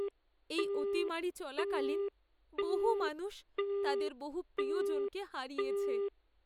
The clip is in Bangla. এই অতিমারী চলাকালীন বহু মানুষ তাদের বহু প্রিয়জনকে হারিয়েছে।